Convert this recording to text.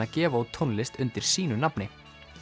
að gefa út tónlist undir sínu nafni